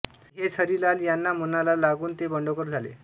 आणि हेच हरिलाल यांना मनाला लागून ते बंडखोर झाले